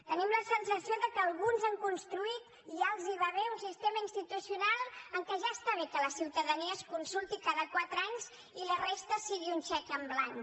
tenim la sensació que alguns han construït i ja els va bé un sistema institucional en què ja està bé que la ciutadania es consulti cada quatre anys i la resta sigui un xec en blanc